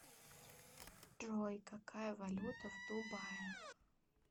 джой какая валюта в дубае